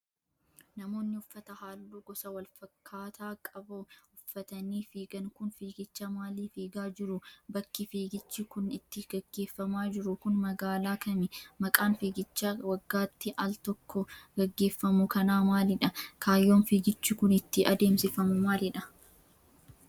Namoonni uffata haalluu gosa walfakkaataa qabau uffatanii fiigan kun, fiigicha maalii fiigaa jiru? Bakki fiigichi kun itti gaggeeffamaa jiru kun, magaalaa kami? Maqaan fiigicha waggaatti al tokko gaggeefamu kanaa maalidha? Kaayyoon fiigichi kun, itti adeemsifamu maalidha?